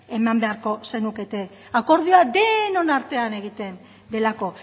eman beharko zenukete akordioa denon artean egiten delako